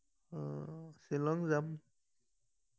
আহ শ্বিলং যাম